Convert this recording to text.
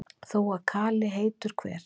þó að kali heitur hver